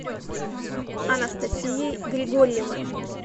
анастасией григорьевой